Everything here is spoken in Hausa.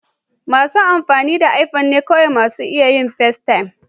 Masu amfani da iPhone ne kawai masu iya yin festaym.